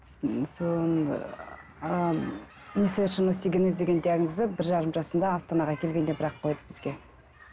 ыыы несовершенный остеогенез деген диагнозды бір жарым жасында астанаға келгенде бір ақ қойды бізге